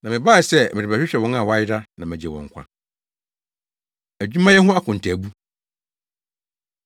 Na mebae sɛ merebɛhwehwɛ wɔn a wɔayera na magye wɔn nkwa.” Adwumayɛ Ho Akontaabu